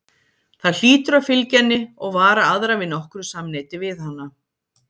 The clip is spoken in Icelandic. Það hlýtur að fylgja henni og vara aðra við nokkru samneyti við hana.